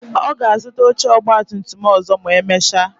Ọ ga-azuta oche ọgba tum tum ọzọ ma emecha